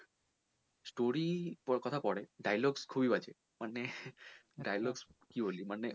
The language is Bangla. story র কথা পরে dialogues খুবই বাজে মানে dialogues কী বলি মানে